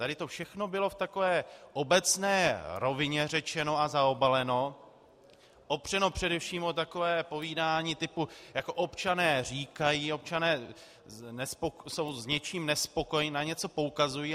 Tady to všechno bylo v takové obecné rovině řečeno a zaobaleno, opřeno především o takové povídání typu jako občané říkají, občané jsou s něčím nespokojeni, na něco poukazují.